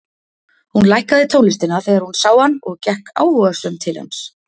Hún lækkaði tónlistina þegar hún sá hann og gekk áhugasöm til hans.